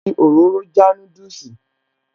Ó fi òróró já núdùsì